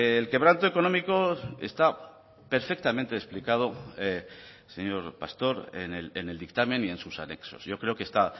el quebranto económico está perfectamente explicado señor pastor en el dictamen y en sus anexos yo creo que está